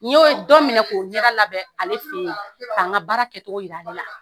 N y'o dɔ minɛ k'o ɲɛda labɛn ale fɛ ye k'a n ka baara kɛcogo yira ale la.